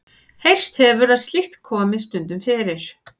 Heyrst hefur að slíkt komi stundum fyrir.